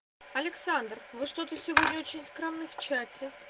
александр вы что то сегодня очень скромны в чате